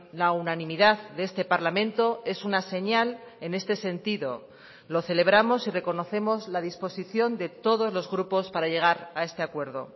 la unanimidad de este parlamento es una señal en este sentido lo celebramos y reconocemos la disposición de todos los grupos para llegar a este acuerdo